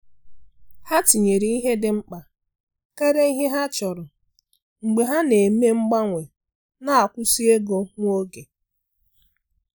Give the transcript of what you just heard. Ha tinyere ihe dị mkpa karịa ihe ha chọrọ mgbe ha na-eme mgbanwe na nkwụsị ego nwa oge.